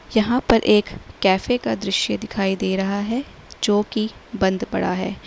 यहां पर एक कैफे का दृश्य दिखाई दे रहा है जो कि बंद पड़ा है।